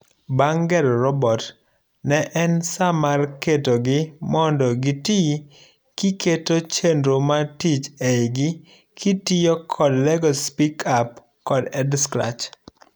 Bang' gero robot, ne en saa mar saa mar ketogi mondo gitii kiketo chenro mar tich eigikitiyo kod LEGO Spike app kod Edscratch.